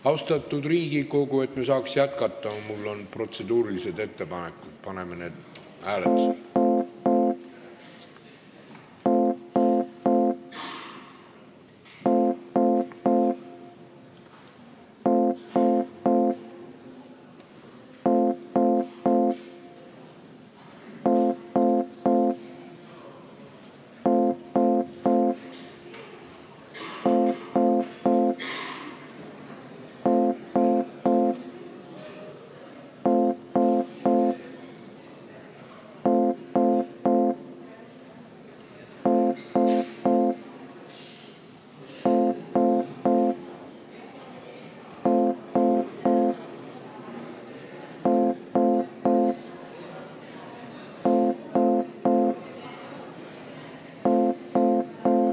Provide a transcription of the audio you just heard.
Austatud Riigikogu, mul on protseduurilised ettepanekud, et me saaks jätkata, ja paneme need hääletusele.